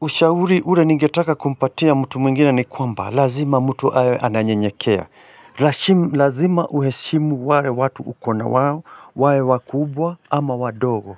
Ushauri ule ningetaka kumpatia mtu mwingine ni kwamba, lazima mtu awe ananyenyekea. Lazima uheshimu wale watu uko na wao, wawe wakubwa ama wadogo.